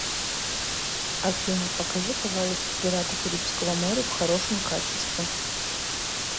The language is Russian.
афина покажи пожалуйста пираты карибского моря в хорошем качестве